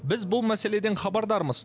біз бұл мәселеден хабардармыз